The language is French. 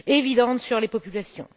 évidente sur les populations.